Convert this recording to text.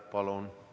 Palun!